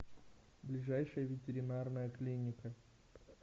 ближайшая ветеринарная клиника